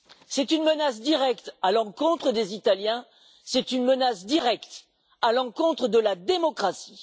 C'est une menace directe à l'encontre des Italiens, c'est une menace directe à l'encontre de la démocratie.